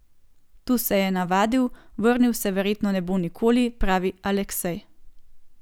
Tu se je navadil, vrnil se verjetno ne bo nikoli, pravi Aleksej.